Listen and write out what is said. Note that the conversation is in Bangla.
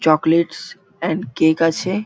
চকলেটস এন্ড কেক আছে।